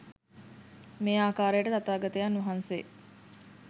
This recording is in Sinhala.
මේ ආකාරයට තථාගතයන් වහන්සේ